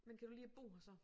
Men kan du lide at bo her så